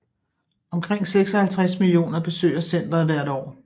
Omkring 56 millioner besøger centret hvert år